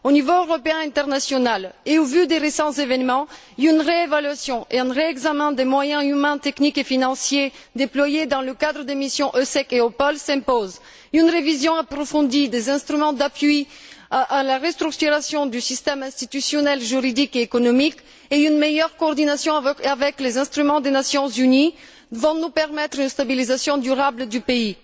Aux niveaux européen et international, et au vu des récents événements, une réévaluation et un réexamen des moyens humains, techniques et financiers déployés dans le cadre des missions EUSEC et EUPOL s'imposent. Une révision approfondie des instruments d'appui à la restructuration du système institutionnel, juridique et économique ainsi qu'une meilleure coordination avec les instruments des Nations unies vont permettre une stabilisation durable du pays.